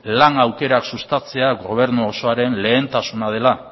lan aukerak sustatzea gobernu osoaren lehentasuna dela